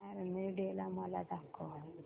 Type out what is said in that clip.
army day मला दाखव